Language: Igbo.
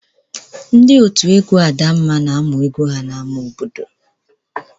Ndị òtù egwu Adamma na-amụ egwu ha n'ámá obodo.